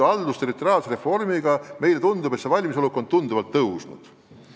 Haldusterritoriaalse reformi tulemusel on see valmisolek meie arvates tunduvalt kasvanud.